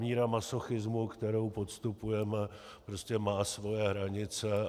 Míra masochismu, kterou podstupujeme, prostě má svoje hranice.